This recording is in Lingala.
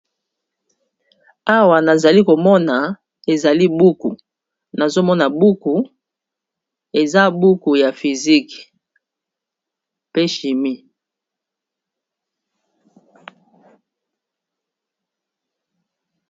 Awa nazali komona ezali buku nazomona buku eza buku ya physique pe chimie